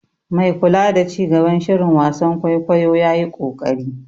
Mai kula da ci gaban shirin wasan kwaikwayo ya yi ƙoƙari.